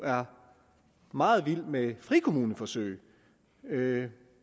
meget vilde med frikommuneforsøg og det